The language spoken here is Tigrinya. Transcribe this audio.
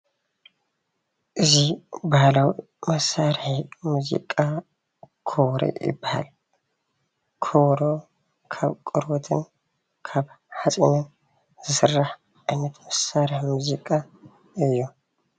እዚ ባህላዊ መሳርሒ ሙዚቃ ከበሮ ይባሃል፡፡ ከበሮ ካብ ቆርበትን ካብ ሓፂንን ዝስራሕ ዓይነት መሳርሒ ሙዚቃ እዩ፡፡